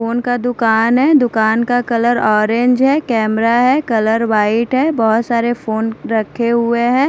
Phone का दुकान है दुकान का कलर ऑरेंज है कैमरा है कलर व्हाइट है बहुत सारे फ़ोन रखे हुए है।